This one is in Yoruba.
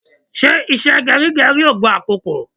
Ṣé ìṣe geri geri ó gbá àkókò?